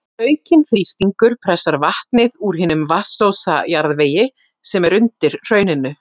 Aukinn þrýstingur pressar vatnið úr hinum vatnsósa jarðvegi sem er undir hrauninu.